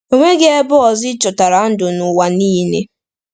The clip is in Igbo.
E nweghị ebe ọzọ e chọtara ndụ n’ụwa niile.